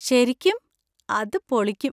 ശരിക്കും? അത് പൊളിക്കും.